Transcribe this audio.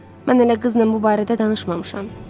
Mən elə qızla bu barədə danışmamışam.